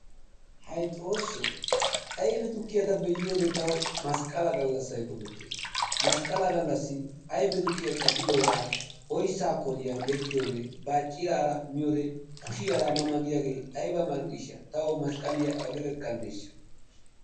Hay Xoossoo ayfe tukkiya be"iyode tawu masqqala gallassayi qofettes. Masqqala gallassi ayfe tukkiya caddidoogaa oyssaa koliya yeggidoogee baacciraara miyode kushiyara ma ma giyagee ayba mall"iishsha tawu masqqaliya awude gakkanddeeshsha.